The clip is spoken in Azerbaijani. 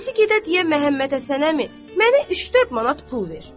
Birisi gedə deyə Məhəmməd Həsən əmi, mənə üç-dörd manat pul ver.